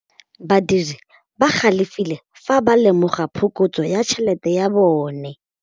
Badiri ba galefile fa ba lemoga phokotsô ya tšhelête ya bone.